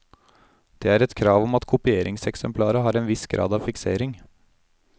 Det er et krav om at kopieringseksemplaret har en viss grad av fiksering.